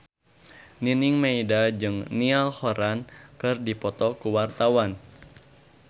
Nining Meida jeung Niall Horran keur dipoto ku wartawan